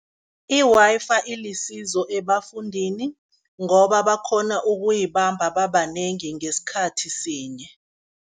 I-Wi-Fi ilisizo ebafundini, ngoba bakghona ukuyibamba babanengi ngesikhathi sinye.